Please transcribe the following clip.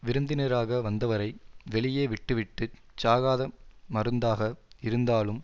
விருந்தினராக வந்தவரை வெளியே விட்டுவிட்டுச் சாகாத மருந்தாக இருந்தாலும்